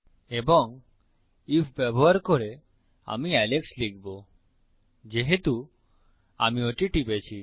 এবং আইএফ ব্যবহার করে আমি এলেক্স লিখবো যেহেতু আমি ওটি টিপেছি